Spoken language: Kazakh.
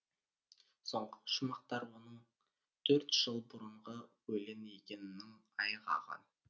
соңғы шумақтар оның төрт жыл бұрынғы өлең екенінің айғағы